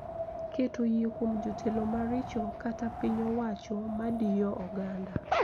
Keto yie kuom jotelo maricho kata piny owacho madiyo oganda